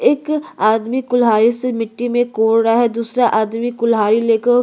एक आदमी को कुल्हाड़ी से मिट्टी में कोड़ रहा है और दूसरा आदमी कुल्हाड़ी लेकर --